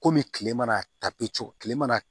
Komi kile mana ta bɛ cɔ tile mana